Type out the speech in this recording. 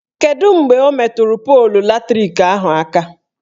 Kedu mgbe o meturu polu latrik ahụ aka?